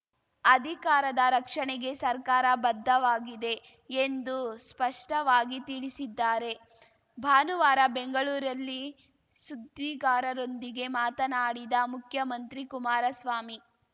ಅಧಿಕಾರಾದ ರಕ್ಷಣೆಗೆ ಸರ್ಕಾರ ಬದ್ಧವಾಗಿದೆ ಎಂದು ಸ್ಪಷ್ಟವಾಗಿ ತಿಳಿಸಿದ್ದಾರೆ ಭಾನುವಾರ ಬೆಂಗಳೂರಲ್ಲಿ ಸುದ್ದಿಗಾರರೊಂದಿಗೆ ಮಾತನಾಡಿದ ಮುಖ್ಯಮಂತ್ರಿ ಕುಮಾರಸ್ವಾಮಿ